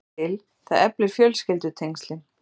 Vittu til, það eflir fjölskyldutengslin.